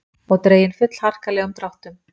Og dregin fullharkalegum dráttum.